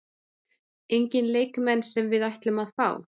Enginn leikmenn sem við ætlum að fá?